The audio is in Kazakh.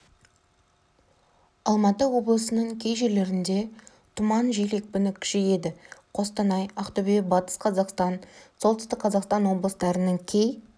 алматы облысының кей жерлерінде тұман жел екпіні күшейеді қостанай ақтөбе батыс қазақстан солтүстік қазақстан облыстарының кей